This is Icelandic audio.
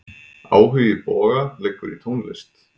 Áhugi Boga liggur í tónlist.